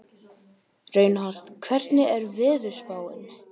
Reinhart, hvernig er veðurspáin?